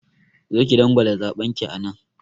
Zo ki dangwala zaɓen ki anan!